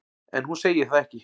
En hún segir það ekki.